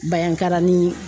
Bayankara ni